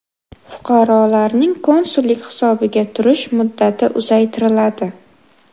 Fuqarolarning konsullik hisobiga turish muddati uzaytiriladi.